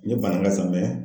Ne ye Banaka sa mɛ